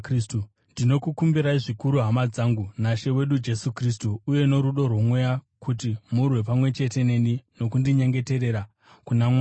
Ndinokukumbirai zvikuru, hama dzangu, naShe wedu Jesu Kristu uye norudo rwoMweya, kuti murwe pamwe chete neni nokundinyengeterera kuna Mwari.